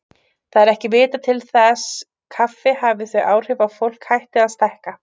Það er ekki vitað til þess kaffi hafi þau áhrif að fólk hætti að stækka.